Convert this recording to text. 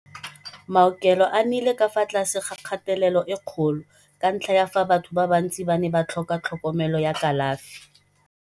Maaokelo a nnile ka fa tlase ga kgatelelo e kgolo ka ntlha ya fa batho ba bantsi ba ne ba tlhoka tlhokomelo ya kalafi.